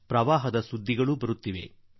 ಪ್ರವಾಹದ ಸುದ್ದಿಗಳೂ ಬರುತ್ತಿವೆ